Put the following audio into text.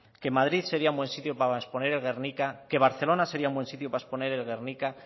que madrid sería un buen lugar para exponer el guernica que barcelona sería un buen sitio para exponer el guernica